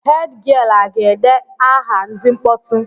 Hed gịel a ga-ede aha ndị mkpọtụ?